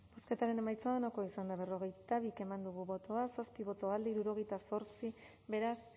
bozketaren emaitza onako izan da hirurogeita hamabost eman dugu bozka zazpi boto alde sesenta y ocho contra beraz